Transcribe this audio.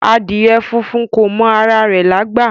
Adìẹ funfun kò mọ ara rẹ̀ lágbà